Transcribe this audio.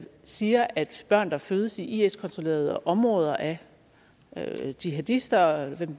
siger at børn der fødes i is kontrollerede områder af jihadister og hvem